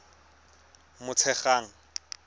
motshegang